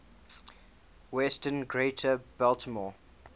western greater baltimore